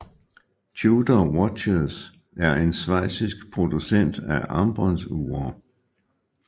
Tudor Watches er en schweizisk producent af armbåndsure